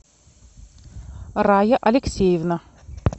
рая алексеевна